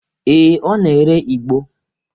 Ee, ọ na-ere igbo.